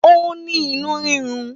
Ó ní inú rírun.